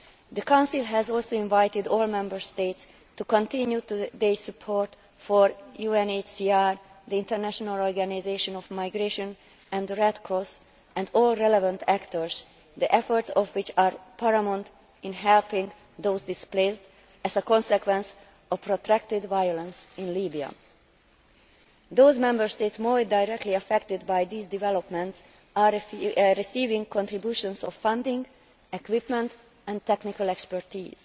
The Council has also invited all Member States to continue their support for UNHCR, the International Organisation for Migration, the Red Cross and all relevant actors, the efforts of which are paramount in helping those displaced as a consequence of protracted violence in Libya. Those Member States more directly affected by these developments are receiving contributions of funding, equipment and technical expertise